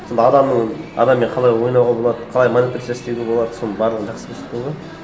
сонда адамның адаммен қалай ойнауға болады қалай манипуляция істеуге болады соның барлығын жақсы көрсеткен ғой